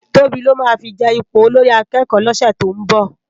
Tobi lò má fi je ipó ólórì àkèkò lòsè tó n bò